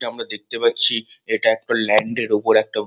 এটি আমরা দেখতে পাচ্ছি এটা একটা ল্যান্ড -এর উপর একটা।